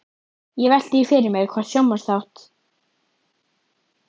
Ég velti því fyrir mér hvort sjónvarpsþátt